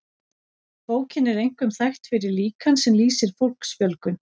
bókin er einkum þekkt fyrir líkan sem lýsir fólksfjölgun